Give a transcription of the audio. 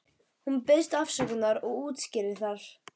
Hún biðst afsökunar og útskýrir það.